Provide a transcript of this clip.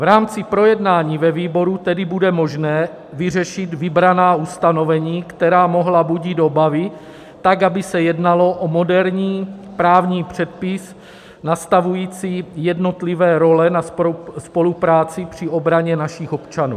V rámci projednání ve výboru tedy bude možné vyřešit vybraná ustanovení, která mohla budit obavy, tak aby se jednalo o moderní právní předpis, nastavující jednotlivé role na spolupráci při obraně našich občanů.